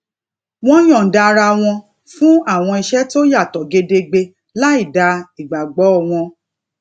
wón yòǹda ara wọn fún àwọn iṣé tó yato gedegbe lai da igbagbo won